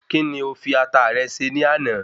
Kí ni o fi Ata rẹ ṣe ní àná?